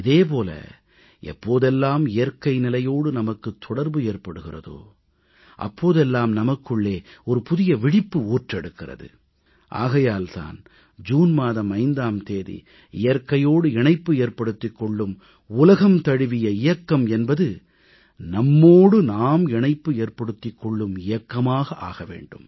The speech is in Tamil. இதே போல எப்போதெல்லாம் இயற்கை நிலையோடு நமக்கு தொடர்பு ஏற்படுகிறதோ அப்போதெல்லாம் நமக்குள்ளே புதிய விழிப்பு ஊற்றெடுக்கிறது ஆகையால் தான் ஜூன் மாதம் 5ஆம் தேதி இயற்கையோடு இணைப்பு ஏற்படுத்திக் கொள்ளும் உலகம் தழுவிய இயக்கம் என்பது நம்மோடு நாம் இணைப்பு ஏற்படுத்திக் கொள்ளும் இயக்கமாக ஆக வேண்டும்